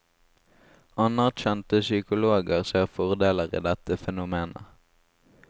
Anerkjente psykologer ser fordeler i dette fenomenet.